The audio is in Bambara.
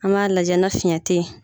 An b'a lajɛ na fiyɛn tɛ ye.